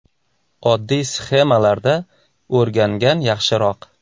Oddiy sxemalarda o‘rgangan yaxshiroq.